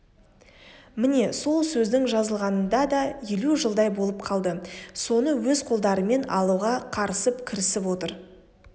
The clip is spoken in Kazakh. міне сол сөздің жазылғанына да елу жылдай болып қалды соны өз қолдарымен алуға қарысып кірісіп отыр